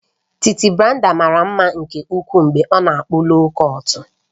Titi Brenda mara mma nke ukwuu mgbe ọ na-akpụ loo kọt